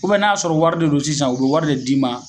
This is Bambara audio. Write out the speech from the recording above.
Ubɛn n'a y'a sɔrɔ wari de don sisan o be wari de d'i ma